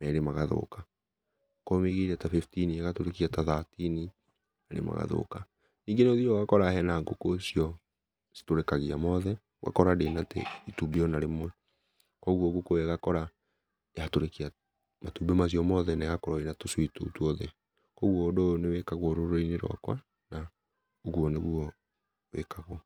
merĩ magathũka, okorwo ũmĩigĩire ta fifteen ĩgatũrĩkia ta thirteen merĩ magathũka, nĩngĩ nĩ ũthiaga ũgakora hena ngũkũ icio ĩtũrĩkagia mothe, ũgakora ndĩ na te ĩtũmbĩ o na rĩmwe, kogwo ngũkũ ĩyo ũgakora yatũrĩkia matũmbi macio mothe na egakorwo ĩna tũcui tũu tũothe, kogwo ũndũ ũyũ nĩ wĩkagwo rũrĩrĩ-inĩ rwakwa, na ũgũo nĩguo wĩkagwo.